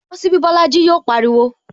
Bosi ibi Bolaji! Yọ pariwo